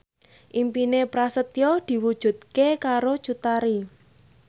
impine Prasetyo diwujudke karo Cut Tari